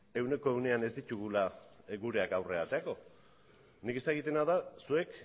ehuneko ehunean ez ditugula gureak aterako nik ez dakitena da zuek